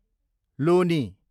लोनी